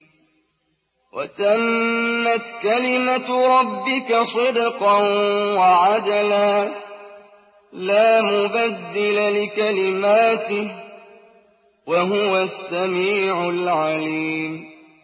وَتَمَّتْ كَلِمَتُ رَبِّكَ صِدْقًا وَعَدْلًا ۚ لَّا مُبَدِّلَ لِكَلِمَاتِهِ ۚ وَهُوَ السَّمِيعُ الْعَلِيمُ